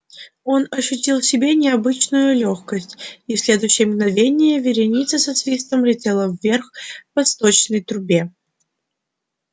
он ощутил в себе необычайную лёгкость и в следующее мгновение вереница со свистом летела вверх по сточной трубе